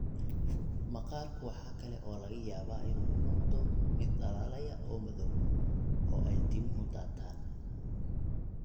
Maqaarku waxa kale oo laga yaabaa inuu u muuqdo mid dhalaalaya oo madow, oo ay timuhu daataan.